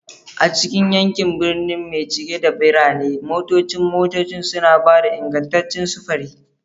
A cikin yankunan birni mai cike da birane, motocin motocin suna ba da ingantaccen sufuri.